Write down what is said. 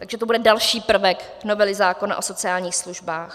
Takže to bude další prvek novely zákona o sociálních službách.